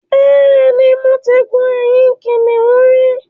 Bẹ́ẹ̀ ni, mo ti gun ẹ̀yìn kìnnìún rí